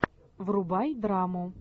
врубай драму